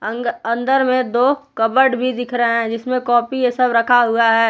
अंग अंदर में दो कबर्ड भी दिख रहे है जिसमें कॉपी ये सब रखा हुआ है ।